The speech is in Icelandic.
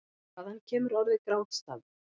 Hvaðan kemur orðið grátstafur?